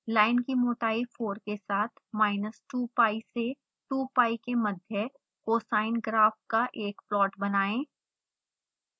line की मोटाई 4 के साथ minus 2pi से 2pi के मध्य cosine graph का एक प्लॉट बनाएं